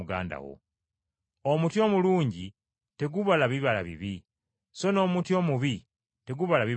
“Omuti omulungi tegubala bibala bibi, so n’omuti omubi tegubala bibala birungi.